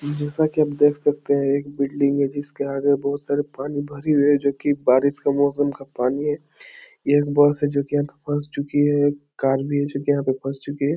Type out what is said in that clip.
जैसा की आप देख सकते हैं एक बिल्डिंग हैं जिसके आगे बहुत सारा पानी भरी हुई है जो की बारिश का मौसम का पानी है यहां एक बस है जो की यहां पे फस चुकी है कार भी है जो की यहां पे फस चुकी है।